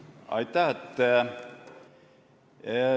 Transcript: Aitäh!